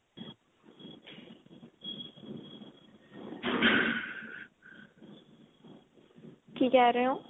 ਕੀ ਕਿਹ ਰਹੇਂ ਹੋ